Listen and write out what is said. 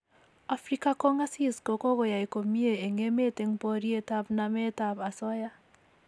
afika kong'asis ko kokoyai komie eng' emet eng' poriet ab namet ab asoya